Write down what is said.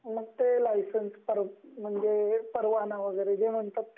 म्हणजे परवाना वैगेरे जे म्हणतात ते